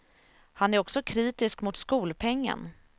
Han är också kritisk mot skolpengen.